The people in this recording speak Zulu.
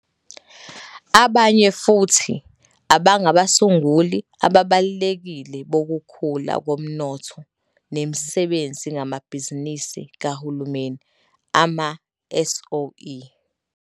Abanye futhi abangabasunguli ababalulekile bokukhula komnotho nemisebenzi ngamabhizinisi kahulumeni, ama-SOE.